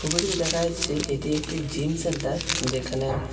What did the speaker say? ছবিটিতে দেখা যাচ্ছে এটি একটি জিম সেন্টার যেখানে--